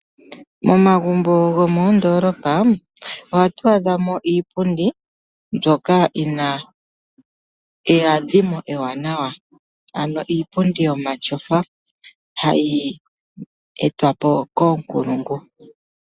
Momagumbo gomoondolopa ohatu adhamo iipundi mbyoka yina eyadhimo ewanawa, ano iipundi yomatyofa, hayi etwapo koonkulungu.